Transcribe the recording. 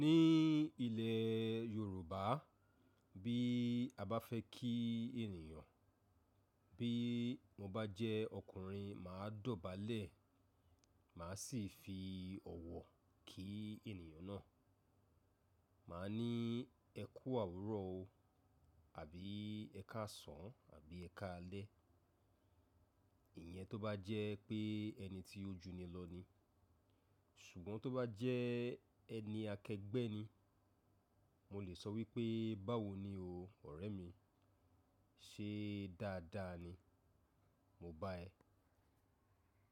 Ní ilẹ̀ Yorùbá bí a bá fẹ́ kí ènìyàn, bí mo bá jẹ́ ọkùnrin màá dọ̀bálẹ̀, màá sì fi ọ̀wọ̀ kí ènìyàn náà. Màá ní ẹ kú òwùrọ̀ o, àbí ẹ káàsán, àbí ẹ káalẹ́. Ìyẹn tó bá jẹ́ pé ẹni tí ó jù ni lọ ni. Ṣùgbọ́n tó bá jẹ́ ẹni akẹgbẹ́ ni, mo lè sọ wípé báwo ni o ọ̀rẹ́ mi, ṣe dáadáa ni? Mo bá ẹ.